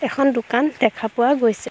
এখন দোকান দেখা পোৱা গৈছে।